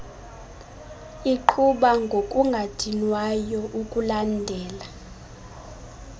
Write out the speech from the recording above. iqhuba ngokungadinwayo ukulandela